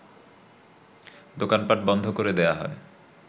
দোকানপাট বন্ধ করে দেয়া হয়